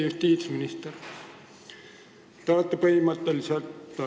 Austatud minister!